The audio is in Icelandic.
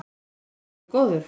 Þú ert orðinn alveg góður.